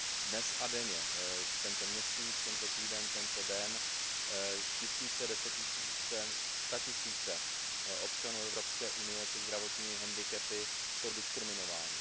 Dnes a denně, tento měsíc, tento týden, tento den, tisíce, desetitisíce, statisíce občanů Evropské unie se zdravotními handicapy jsou diskriminovány.